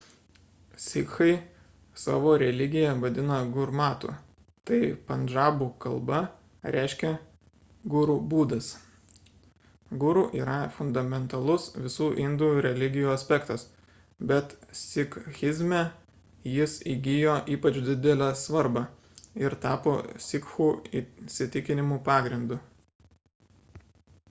sikhai savo religiją vadina gurmatu tai pandžabų kalba reiškia guru būdas guru yra fundamentalus visų indų religijų aspektas bet sikhizme jis įgijo ypač didelę svarbą ir tapo sikhų įsitikinimų pagrindu